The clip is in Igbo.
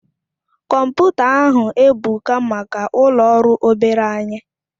Komputa ahu ebuka maka ulo ọrụ obere anyi